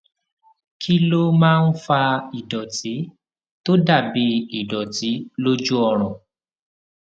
kí ló máa ń fa ìdòtí tó dà bí ìdòtí lójú ọrùn